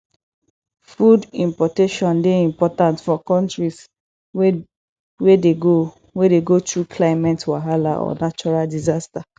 food importation dey important for countries wey dey go wey dey go through climate wahala or natural disaster